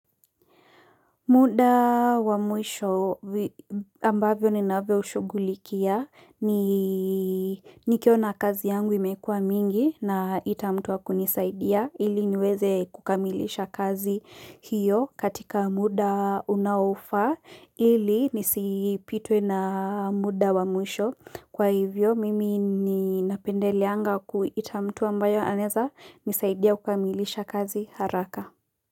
Muda wa mwisho ambavyo ninavyoshugulikia ni nikiona kazi yangu imekuwa mingi na itamtuwa kunisaidia ili niweze kukamilisha kazi hiyo katika muda unaofaa ili nisipitwe na muda wa mwisho kwa hivyo mimi ni napendeleanga ku itamtuwa mbayo aneza nisaidia kukamilisha kazi haraka.